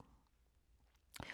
TV 2